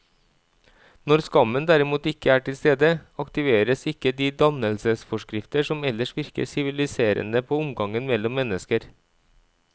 Når skammen derimot ikke er til stede, aktiveres ikke de dannelsesforskrifter som ellers virker siviliserende på omgangen mellom mennesker.